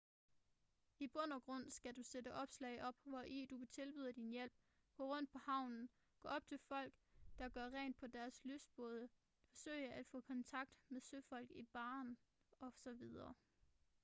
i bund og grund skal du sætte opslag op hvori du tilbyder din hjælp gå rundt på havnen gå op til folk der gør rent i deres lystbåde forsøge at få kontakt med søfolk i baren osv